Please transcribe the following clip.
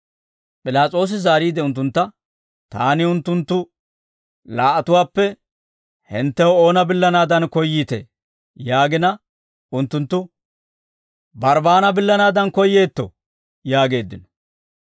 P'ilaas'oosi zaariide unttuntta, «Taani unttunttu laa"atuwaappe hinttew oona billanaadan koyyiitee?» yaagina unttunttu, «Barbbaana billanaadan koyyeetto» yaageeddino.